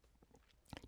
DR2